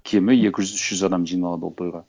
кемі екі жүз үш жүз адам жиналады ол тойға